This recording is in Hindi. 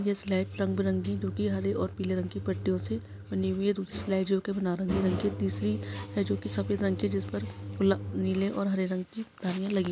ये स्लाइड रंग-बिरंगी जोकि हरे और पीले रंग की पट्टियों से बनी हुई है दूसरी स्लाइड जोकि नारंगी रंग की तीसरी है जोकि सफेद रंग की जिस पर ल नीले और हरे रंग की धारियाँ लगी है।